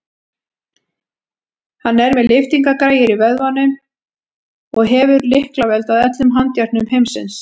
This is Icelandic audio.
Hann er með lyftingagræjur í vöðvunum og hefur lyklavöld að öllum handjárnum heimsins.